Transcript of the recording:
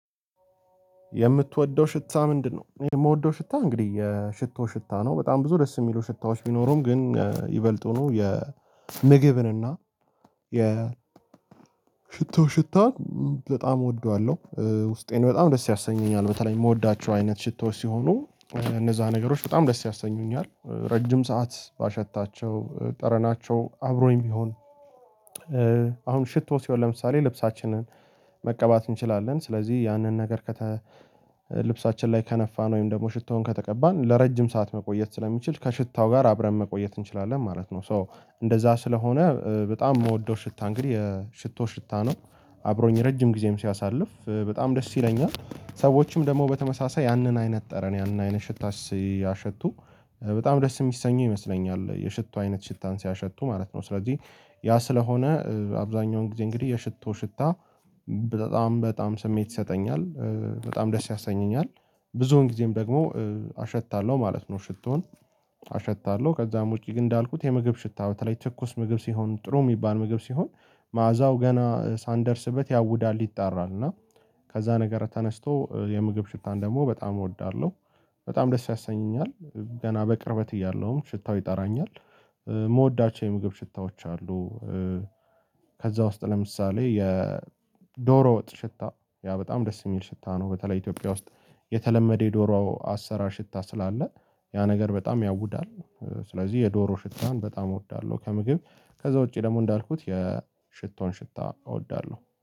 የምትወደው ሽታ ምንድነው? የምወደው ሽታ እንግዲህ የሽቶ ሽታ ነው በጣም ብዙ ደስ የሚሉ ሽታዎች ቢኖሩም ግን ይበልጡ ነው የምግብን እና የሽቶ ሽታን በጣም እወደዋለሁ ውስጤን በጣም ደስ ያሰኘኛል በተለይ የምወዳቸው አይነት ሽቶዎች ሲሆኑ እነዛ ነገሮች በጣም ደስ ያሰኙኛል ረጅም ሰዓት ባሸታቸው ጠረናቸው አብሮኝ ቢሆን። አሁን ሽቶ ሲሆን ለምሳሌ ልብሳችንን መቀባት እንችላለን ስለዚህ ያንን ነገር ልብሳችን ላይ ከነፋን ወይም ደግሞ ሽቶውን ከተቀባን ለረጅም ሰዓት መቆየት ስለሚችል ከሽታው ጋር አብረን መቆየት እንችላለን ማለት ነው። ሶ እንደዛ ስለሆነ በጣም ምወደው ሽታ እንግዲህ የሽቶ ሽታ ነው። አብሮኝ ረጅም ጊዜም ሲያሳልፍ በጣም ደስ ይለኛል ሰዎችም ደግሞ በተመሳሳይ ያንን አይነት ጠረን ያንን አይነት ሽታ ሲያሸቱ በጣም ደስ ሚሰኙ ይመስለኛል። የሽቶ አይነት ሽታን ሲያሸቱ ማለት ነው። ስለዚህ ያ ስለሆነ አብዛኛውን ጊዜ እንግዲህ የሽቶ ሽታ በጣም በጣም ስሜት ይሰጠኛል። በጣም ደስ ያሰኘኛል። ብዙውን ጊዜም ደግሞ አሸታለሁ ማለት ነው። ሽቶን አሸታለሁ ከዛም ውጪ ግን እንዳልኩት የምግብ ሽታ በተለይ ትኩስ ምግብ ሲሆን ጥሩ ሚባል ምግብ ሲሆን መዓዛው ገና ሳንደርስበት ያውዳል ይጣራል። እና ከዛ ነገር ተነስቶ የምግብ ሽታን ደግሞ በጣም እወዳለሁ። በጣም ደስ ያሰኘኛል ገና በቅርበት እያለሁም ሽታው ይጠራኛል። ምወዳቸው የምግብ ሽታዎች አሉ። ከዛ ውስጥ ለምሳሌ የዶሮ ወጥ ሽታ ያ በጣም ደስ የሚል ሽታ ነው። በተለይ ኢትዮጵያ ውስጥ የተለመደ የዶሮ አሰራር ሽታ ስላለ ያ ነገር በጣም ያውዳል። ስለዚህ የዶሮ ሽታን በጣም እወዳለሁ። ከምግብ ከዛ ውጪ ደግሞ እንዳልኩት የሽቶን ሽታ እወዳለሁ